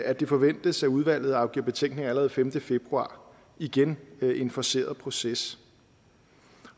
at det forventes at udvalget afgiver betænkning allerede den femte februar igen en forceret proces